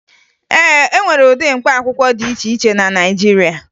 E nwere ụdị mkpaakwụkwọ dị iche iche na Naịjirịa